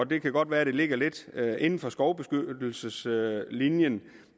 det kan godt være det ligger lidt inden for skovbeskyttelseslinjen